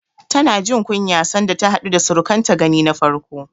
Tana jin kunya sanda ta haɗu da surukanta gani na farko.